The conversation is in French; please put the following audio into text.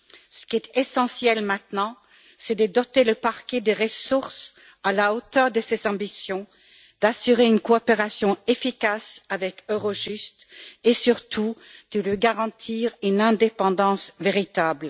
Ce qui est essentiel maintenant, c'est de doter le parquet de ressources à la hauteur de ses ambitions, d'assurer une coopération efficace avec Eurojust et surtout de lui garantir une indépendance véritable.